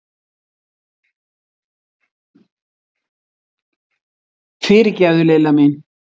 Fyrirgefðu, Lilla mín!